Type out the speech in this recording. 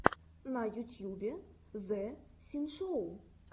на ютьюбе зэ синшоу